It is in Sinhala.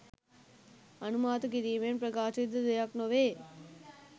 අනුමාන කිරීමෙන් ප්‍රකාශිත දෙයක් නොවේ.